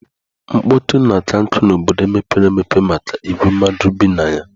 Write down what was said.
Mkpọtụ na-akankụ n'obodo mepere emepe maka igwe mmadụ bi na ya.